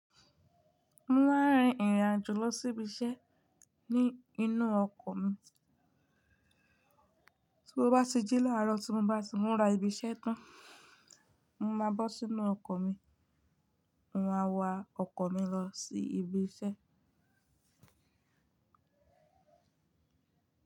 Mo máa rìn ìrìnàjò lọ sí ibi iṣẹ́ ní inú ọkọ̀ mi. Ti mo bá ti jí láàárọ̀ tí mo bá ti múra ibi iṣẹ́ tán, mo máa bọ́ sínú ọkọ̀ mi. Mo máa wa ọkọ̀ mi lọ sí ibi iṣẹ́.